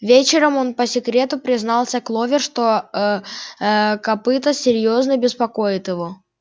вечером он по секрету признался кловер что ээ копыто серьёзно беспокоит его